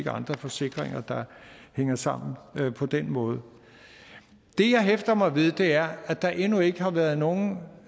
andre forsikringer der hænger sammen på den måde det jeg hæfter mig ved er at der endnu ikke har været nogen